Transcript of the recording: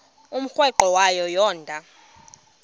umrweqe wayo yoonda